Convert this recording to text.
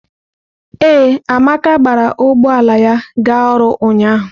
Ee, Amaka gbara ụgbọ ala ya ga ọrụ ụnyahụ.